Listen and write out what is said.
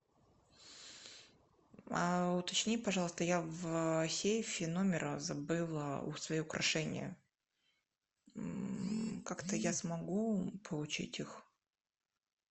уточни пожалуйста я в сейфе номера забыла свое украшение как то я смогу получить их